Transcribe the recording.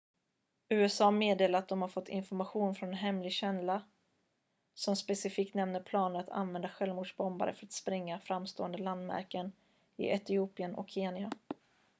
"usa meddelar att de har fått information från en hemlig källa som specifikt nämner planer att använda självmordsbombare för att spränga "framstående landmärken" i etiopien och kenya.